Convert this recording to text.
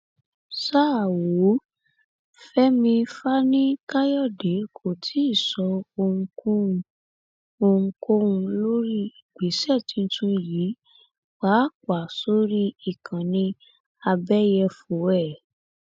ṣá ò fẹmí fani káyọdé kò tí ì sọ ohunkóhun ohunkóhun lórí ìgbésẹ tuntun yìí pàápàá sórí ìkànnì àbẹyẹfọ ẹ